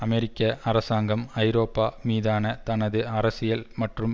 அமெரிக்க அரசாங்கம் ஐரோப்பா மீதான தனது அரசியல் மற்றும்